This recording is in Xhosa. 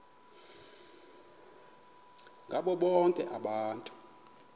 ngabo bonke abantu